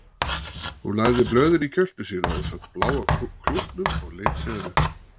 Hún lagði blöðin í kjöltu sína ásamt bláa klútnum og leit síðan upp.